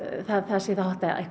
laga það